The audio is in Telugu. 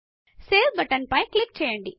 సేవ్ బటన్ పైన క్లిక్ చేయండి